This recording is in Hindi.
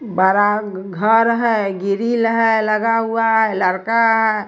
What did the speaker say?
बरा घर है ग्रिल है लगा हुआ है लरका है।